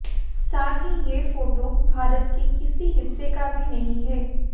साथ ही ये फोटो भारत के किसी हिस्से का भी नहीं है